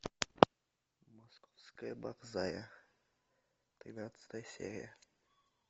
московская борзая тринадцатая серия